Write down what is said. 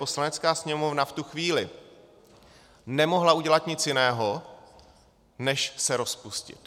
Poslanecká sněmovna v tu chvíli nemohla udělat nic jiného než se rozpustit.